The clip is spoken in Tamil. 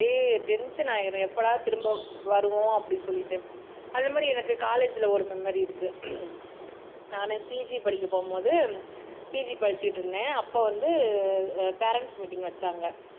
அப்படியே டென்ஷன் ஆயிடும் எப்படா திரும்ப வருவோம் அப்படின்னு சொல்லிட்டு அந்தமாரி எனக்கு காலேஜ்ல ஒரு மெமரி இருக்கு நானு பி ஜி படிக்க போகும்போது பி ஜி படிச்சிட்டு இருந்தேன் அப்போ வந்து பேரன்ட்ஸ் மீட்டிங் வச்சாங்க